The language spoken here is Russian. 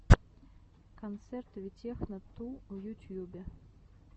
концерт витехно ту в ютьюбе